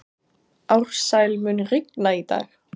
Ársæl, mun rigna í dag?